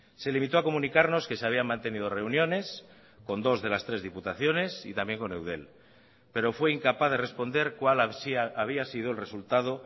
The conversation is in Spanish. se limitó a comunicarnos que se habían mantenido reuniones con dos de las tres diputaciones y también con eudel pero fue incapaz de responder cuál había sido el resultado